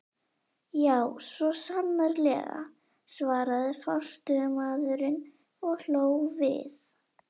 Já, svo sannarlega, svaraði forstöðumaðurinn og hló við.